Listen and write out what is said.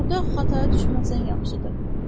Burda Xatayı düşməsən yaxşıdır.